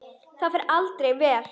Það fer aldrei vel.